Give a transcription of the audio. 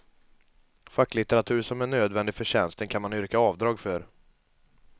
Facklitteratur som är nödvändig för tjänsten kan man yrka avdrag för.